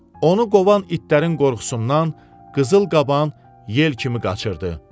Onu qovan itlərin qorxusundan qızıl qaban yel kimi qaçırdı.